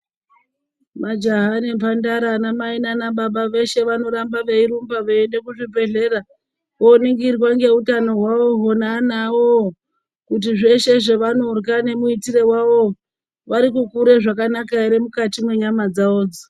Majaha nemhandara anamai nana baba veshe vanoramba veirumba veiende kuzvibhedhlera voningirwa ngeutano hwavoho nevana vavovo kuti zveshe zvevanorya nemuitire wavovo varikukure zvakanaka ere mukati mwenyama dzavodzo